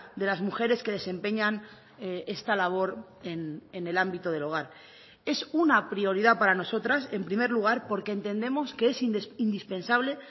de las mujeres que desempeñan esta labor en el ámbito del hogar es una prioridad para nosotras en primer lugar porque entendemos que es indispensable